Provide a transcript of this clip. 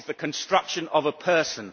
It is the construction of a person.